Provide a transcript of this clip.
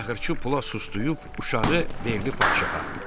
Naxırçı pula sustuyub uşağı verdi padşaha.